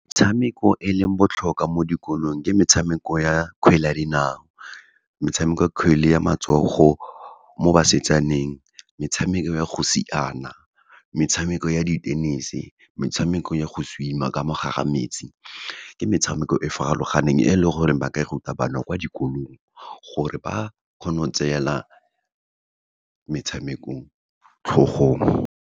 Metshameko e leng botlhokwa mo dikolong, ke metshameko ya kgwele ya dinao, metshameko ya kgwele ya matsogo mo basetsaneng, metshameko ya go siana, metshameko ya di-tennis-e, metshameko ya go swim-a, ka mo gare ga metsi. Ke metshameko e farologaneng, e leng gore ba ka e ruta bana kwa dikolong, gore ba kgone go tseela metshamekong tlhogong.